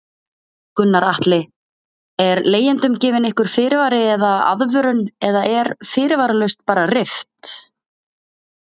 Gunnar Atli: Er leigjendum gefinn einhver fyrirvari eða aðvörun eða er fyrirvaralaust bara rift?